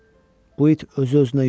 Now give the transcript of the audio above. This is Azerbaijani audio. Bu it özü-özünə yükdür.